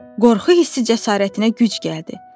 Qorxu hissi cəsarətinə güc gəldi.